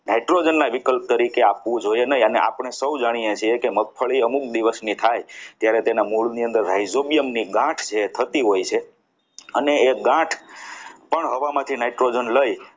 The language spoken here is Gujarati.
nitrogen ના વિકલ્પ તરીકે આપવું જોઈએ નહીં અને સૌ જાણીએ છીએ કે મગફળી અમુક દિવસની થાય ત્યારે તેના મૂળની અંદર hydronium ની ગાંઠ જે થતી હોય છે અને એ ગાંઠ પણ હવામાંથી nitrogen લઈ